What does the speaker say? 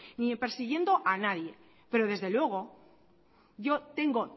ni persiguiendo a nadie pero desde luego yo tengo